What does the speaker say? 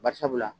Barisabula